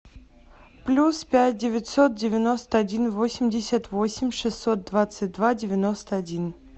плюс пять девятьсот девяносто один восемьдесят восемь шестьсот двадцать два девяносто один